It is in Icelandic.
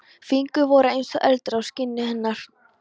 Fingur voru eins og eldur á skinni hennar.